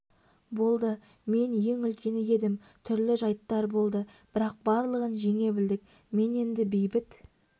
болды мен ең үлкені едім түрлі жайттар болды бірақ барлығын жеңе білдік міне енді бейбіт